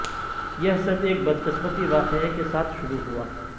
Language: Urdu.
یہ سب ایک بدقسمتی واقعہ کے ساتھ شروع ہوا